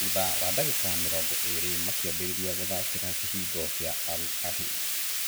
Thutha wa ndagĩka mĩrongo ĩĩrĩ makĩambĩrĩria gũtharĩkĩra kĩhingo kĩa Al Ahyl